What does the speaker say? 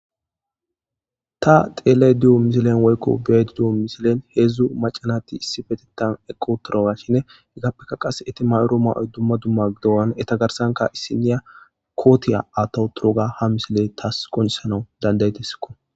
Ta xelayda diyo woyko beyayda diyo misiliya hezhu maca nayti issipetethan eqi uttidoganne izapeka eti mayida mayoy duma duma gidogane etapeka issiniya kota atha utoga ha misiley tasi qoncisana danda'idesko